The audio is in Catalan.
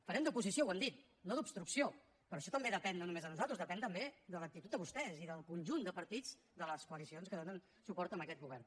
farem d’oposició ho hem dit no d’obstrucció però això també depèn no només de nosaltres depèn també de l’actitud de vostès i del conjunt de partits de les coalicions que donen suport a aquest govern